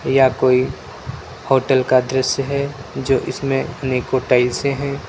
यह कोई होटल का दृश्य है जो इसमें अनेकों टाईल्स हैं।